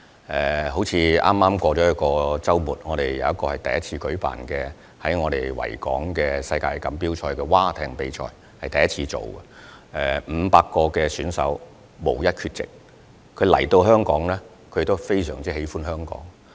例如在剛過去的周末，本港首次在維港舉辦世界海岸賽艇錦標賽，參與的500名選手無一缺席，他們來到香港，亦很喜歡香港。